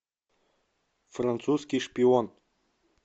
французский шпион